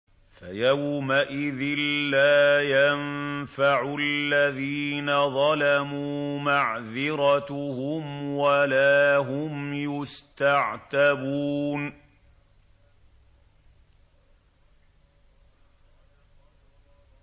فَيَوْمَئِذٍ لَّا يَنفَعُ الَّذِينَ ظَلَمُوا مَعْذِرَتُهُمْ وَلَا هُمْ يُسْتَعْتَبُونَ